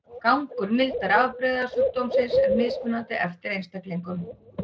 Gangur mildari afbrigða sjúkdómsins er mismunandi eftir einstaklingum.